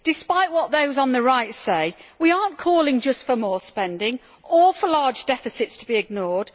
Despite what those on the right say, we are not calling just for more spending or for large deficits to be ignored.